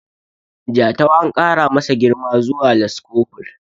Jatau an kara masa girma zuwa laskofur